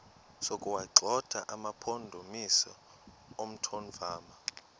sokuwagxotha amampondomise omthonvama